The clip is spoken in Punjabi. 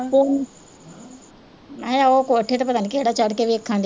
ਪੋ ਮੈਂ ਕਿਹਾ ਉਹ ਕੋਠੇ ਤੇ ਪਤਾ ਨੀ ਕਿਹੜਾ ਚੜ੍ਹ ਕੇ ਵੇਖਣ